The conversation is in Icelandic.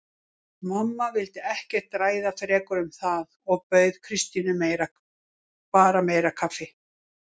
Mamma vildi ekkert ræða frekar um það og bauð Kristínu bara meira kaffi.